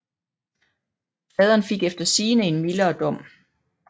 Faderen fik efter sigende en mildere dom